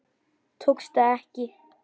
Tókst það ekki.